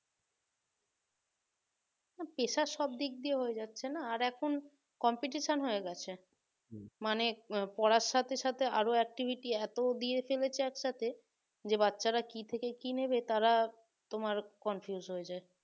pressure সব দিক দিয়েই হয়ে যাচ্ছে না? আর এখন competition হয়ে গেছে মানে পড়ার সাথে সাথে আরো activity এত দিয়ে ফেলেছে একসাথে যে বাচ্চারা কি থেকে কি নেবে তারা তোমার confused হয়ে যায়